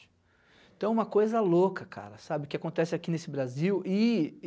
Então é uma coisa louca, cara, sabe, o que acontece aqui nesse Brasil. E